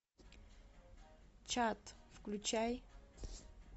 чат включай